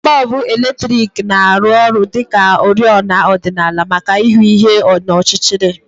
Bọlbụ eletriki na-arụ ọrụ dị ka oriọna ọdịnala maka ịhụ ihe n'ọchịchịrị